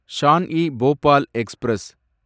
Shawn e Bhopal express